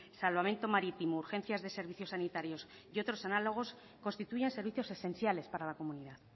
salvamento marítimo urgencias de servicios sanitarios y otros análogos constituyen servicios esenciales para la comunidad